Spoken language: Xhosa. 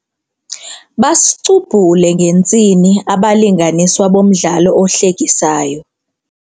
Basicubhule ngentsini abalinganiswa bomdlalo ohlekisayo.